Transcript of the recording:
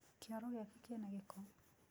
Kĩoro gĩake kĩna gĩko.